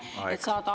Aeg, hea kolleeg!